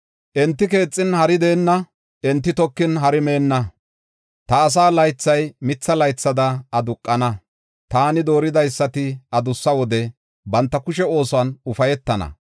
Enti keexin hari deenna; enti tokin hari meenna. Ta asaa laythay mitha laythada aduqana; taani dooridaysati adussa wode banta kushe oosuwan ufaytana.